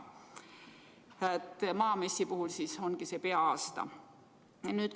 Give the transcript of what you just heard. Maamessi puhul ongi see peaaegu aasta.